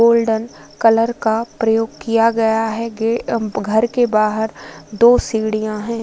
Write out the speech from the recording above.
Golden colour का प्रयोग किया गया है घर के बाहर दो सीढियाँ हैं।